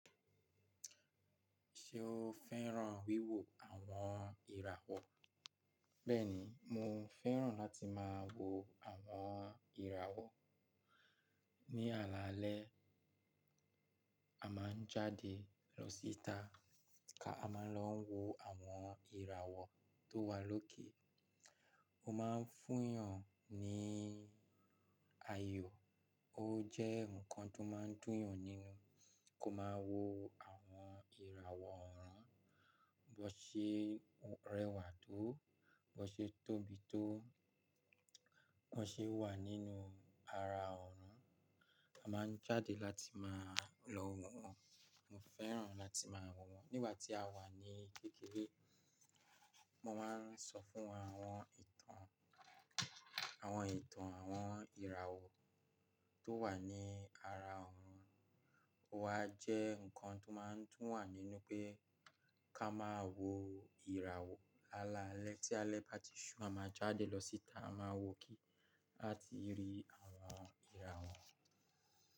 Ṣé o fẹ́ràn wíwo àwọn ìràwọ̀? Bẹ́ẹ̀ni, mo fẹ́ràn láti máa wo àwọn ìràwọ̀. Ni alaalẹ́, a máa ń jáde lọ síta ka a máa lọ n wo àwọn ìràwọ̀ tó wà lókè. Ó máa ń fún yàn ní ayọ̀, ó jẹ́ ǹkan tó máa ń dùn yàn nínú kó máa wo àwọn ìràwọ̀ ọ̀ọrun bó ṣe rẹwà tó, bó ṣe tóbi tó, bó ṣe wà nínú ara ọ̀ọrun. A máa ń jáde láti máa lọ wo wọn. Mo fẹ́ràn láti máa wo wọn. Nígbà tí a wà ní kékeré, mo máa ń sọ fún wọn àwọn ìtàn, àwọn ìtàn àwọn ìràwọ̀ tó wà ní ara ọ̀run. Ó wa jẹ́ ǹkan tó máa ń dùn wà nínú pé ká máa wo ìràwọ̀. Lálalẹ́ tí alẹ́ bá ti ṣú, a máa jáde lọ síta, a máa wò óke lati rí àwọn ìràwọ̀.